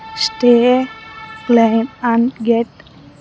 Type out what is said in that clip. Stay claim and get .